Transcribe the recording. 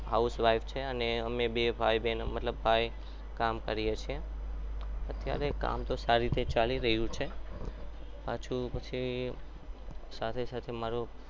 અમે બે ભાઈ અમે બે ભાઈ કામ કરીએ છીએ અત્યારે કામ તો સારી રીતે ચાલુ રહે છે પછી સાથે સાથે મારુ favorite